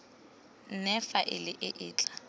nne faele e e tla